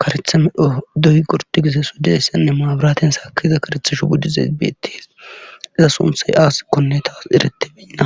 karetha me dho doy gorti gise sodeyssenne maabiraten saakiza karethishu buddi zeybeetis iza sunthay aasikkonne taas erete beinna